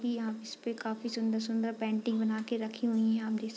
की यहाँ इसपे काफ़ी सुन्दर-सुन्दर पेंटिंग बना के रखीं हुईं यहाँ देख --